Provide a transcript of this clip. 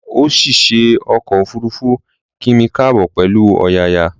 Òṣìṣẹ́ ọkọ̀ òfuruufú kí mi káàbọ̀ pẹ̀lú ọ̀yàyà